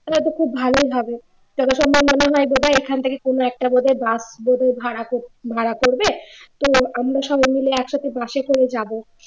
তাহলে তো খুব ভালোই হবে যথাসম্ভব মনে হয় এখান থেকে কোন একটা বোধহয় বাস বোধহয় ভাড়া ভাড়া করবে তো আমরা সবাই মিলে একসাথে বাসে করে যাব